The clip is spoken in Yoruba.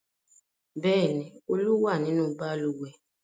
Bẹ́ẹ̀ ni, Olú wà nínú balùwẹ̀.